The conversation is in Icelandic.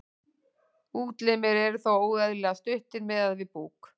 útlimir eru þá óeðlilega stuttir miðað við búk